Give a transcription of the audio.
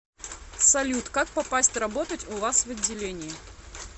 салют как попасть работать у вас в отделении